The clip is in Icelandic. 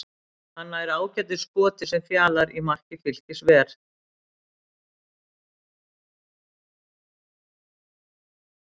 Hann nær ágætu skoti sem Fjalar í marki Fylkis ver.